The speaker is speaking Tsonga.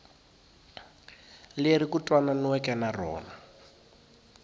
leri ku twananiweke na rona